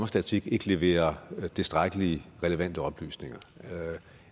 statistik ikke leverer tilstrækkelige relevante oplysninger